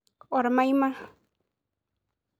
Ormaima.